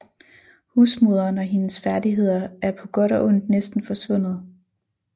Husmoderen og hendes færdigheder er på godt og ondt næsten forsvundet